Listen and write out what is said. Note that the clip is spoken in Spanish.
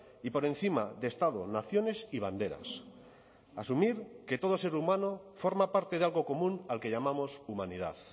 y por encima de estado naciones y banderas asumir que todo ser humano forma parte de algo común al que llamamos humanidad